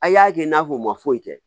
A' y'a kɛ n'a fɔ u ma foyi kɛ